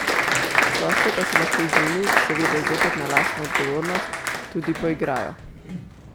Gostje pa se lahko z njimi, seveda zopet na lastno odgovornost, tudi poigrajo.